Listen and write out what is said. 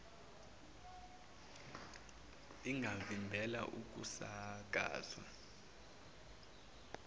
ingavimbela ukusaka zwa